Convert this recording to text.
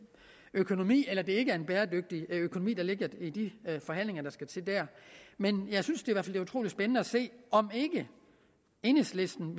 økonomi eller det ikke er en bæredygtig økonomi der ligger i de forhandlinger der skal til dér men jeg synes i hvert er utrolig spændende at se om enhedslisten